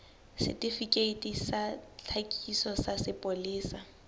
setifikeiti sa tlhakiso sa sepolesa